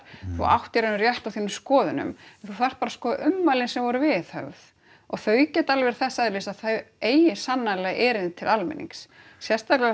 þú átt í raun og veru rétt á þínum skoðunum þú þarft bara sko ummælin sem voru viðhöfð og þau geta alveg verið þess eðlis að þau eigi sannarlega erindi til almennings sérstaklega